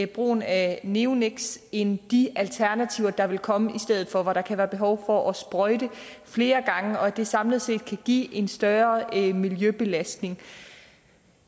brugen af neoniks end de alternativer der ville komme i stedet for hvor der kan være behov for at sprøjte flere gange og at det samlet set kan give en større miljøbelastning